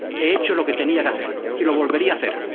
He hecho lo que tenía que hacer y lo volvería a hacer.